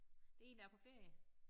Det én der på ferie